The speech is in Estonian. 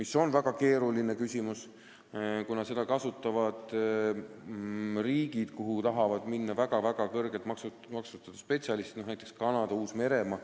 See on väga keeruline küsimus, kuna seda süsteemi kasutavad riigid, kuhu tahavad minna väga-väga kõrgelt tasustatud spetsialistid, näiteks Kanada ja Uus-Meremaa.